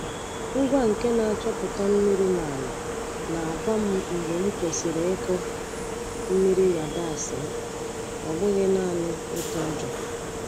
Ngwa nke na-achọpụta mmiri na ala na-agwa m mgbe m kwesịrị ịkụ mmiri yabasị m, ọ bụghị naanị ịtụ ụjọ.